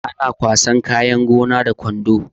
Ana kwasan kayan gona da kwando